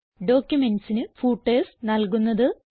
ഡോക്യുമെന്റ്സിന് footers നൽകുന്നത്